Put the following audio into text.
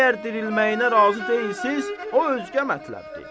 Əgər dirilməyinə razı deyilsiz, o özgə mətləbdir.